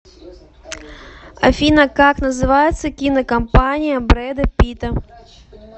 афина как называется кинокомпания брэда питта